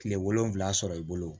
Kile wolonfila sɔrɔ i bolo